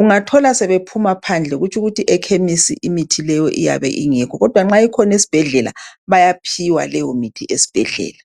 Ungathola sebephuma phandle kutsh'ukuthi ekhemisi imithi leyo iyabe ingekho, kodwa nxa ikhona esibhedlela bayaphiwa leyo mithi esibhedlela .